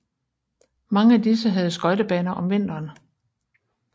Mange af disse havde skøjtebaner om vinteren